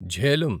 Jhelum